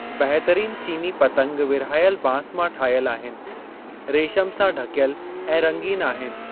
बहितरीनु चीनी पतंग विरहायल बांस मां ठहियल आहिनि रेशम सां ढकियल ऐं रंगीन आहिनि।